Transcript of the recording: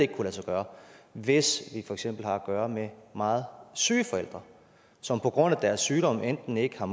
kan lade sig gøre hvis vi for eksempel har at gøre med meget syge forældre som på grund af deres sygdom enten ikke har